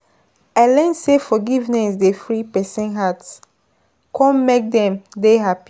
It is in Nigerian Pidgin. I learn sey forgiveness dey free pesin heart kom make dem dem happy.